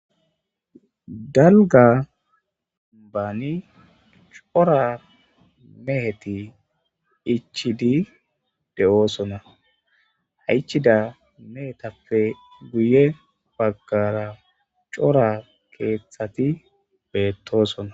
dalga baani cora meheti ichidi de7oosona haichida mehetappe guye baggara cora keeththati beettoosona